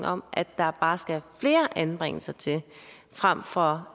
om at der bare skal flere anbringelser til frem for